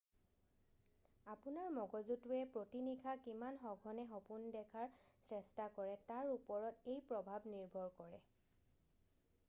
আপোনাৰ মগজুটোৱে প্ৰতি নিশা কিমান সঘনে সপোন দেখাৰ চেষ্টা কৰে তাৰ ওপৰত এই প্ৰভাৱ নিৰ্ভৰ কৰে